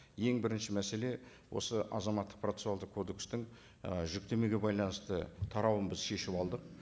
ең бірінші мәселе осы азаматтық процессуалдық кодекстің і жүктемеге байланысты тарауын біз шешіп алдық